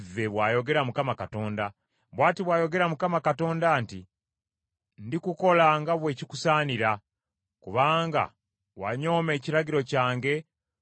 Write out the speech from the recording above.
“ ‘Bw’ati bw’ayogera Mukama Katonda nti, Ndikukola nga bwe kikusaanira, kubanga wanyooma ekirayiro kyange, bwe wamenya endagaano.